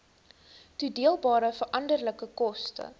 toedeelbare veranderlike koste